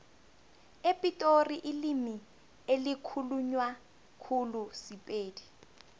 epitori ilimi elikhulunywa khulu sipedi